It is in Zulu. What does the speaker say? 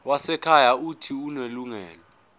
wezasekhaya uuthi unelungelo